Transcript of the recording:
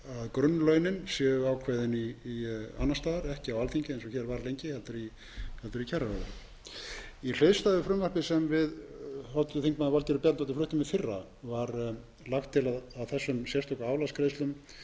grunnlaunin séu ákveðin annars staðar ekki á alþingi eins og hér var lengi heldur í kjararáði í hliðstæðu frumvarpi sem við háttvirtur þingmaður valgerður bjarnadóttir fluttum í fyrra var lagt til að þessum sérstöku álagsgreiðslum eða hluta